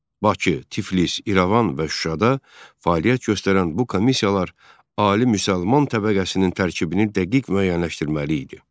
Bakı, Tiflis, İrəvan və Şuşada fəaliyyət göstərən bu komissiyalar ali müsəlman təbəqəsinin tərkibini dəqiq müəyyənləşdirməli idi.